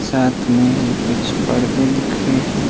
साथ में ही कुछ परदे दिख रहे हैं।